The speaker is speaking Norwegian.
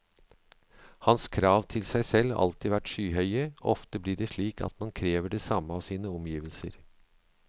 Hans krav til seg selv har alltid vært skyhøye, og ofte blir det slik at man krever det samme av sine omgivelser.